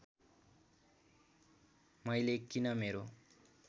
मैले किन मेरो